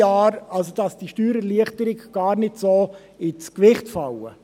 Das heisst, dass die Steuererleichterungen gar nicht so stark ins Gewicht fallen.